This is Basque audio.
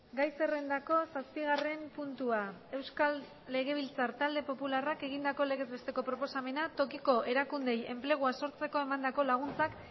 gai zerrendako zazpigarren puntua euskal legebiltzar talde popularrak egindako legez besteko proposamena tokiko erakundeei enplegua sortzeko emandako laguntzak